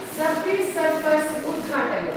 Subway Surfers उद्घाटय।